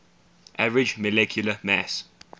average molecular mass